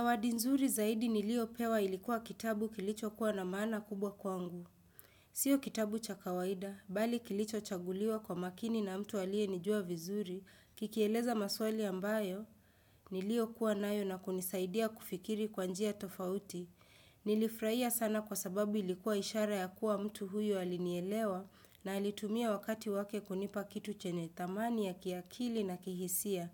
Zawadi nzuri zaidi niliyo pewa ilikuwa kitabu kilicho kua na maana kubwa kwangu. Sio kitabu cha kawaida, bali kilichochaguliwa kwa makini na mtu aliyenijua vizuri, kikieleza maswali ambayo niliyokuwa nayo na kunisaidia kufikiri kwa njia tofauti. Nilifurahia sana kwa sababu ilikuwa ishara ya kua mtu huyo alinielewa na alitumia wakati wake kunipa kitu chenye thamani ya kiakili na kihisia.